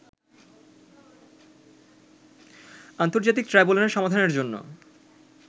আন্তর্জাতিক ট্রাইব্যুনালে সমাধানের জন্য